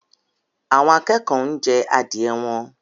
Àwọn akẹ́kọ̀ọ́ ń jẹ adìẹ wọn